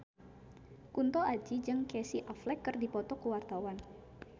Kunto Aji jeung Casey Affleck keur dipoto ku wartawan